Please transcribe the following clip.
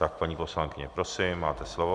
Tak, paní poslankyně, prosím, máte slovo.